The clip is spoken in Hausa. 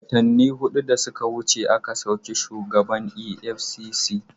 Watanni hudu da suka wuce aka sauki shugaban EFCC.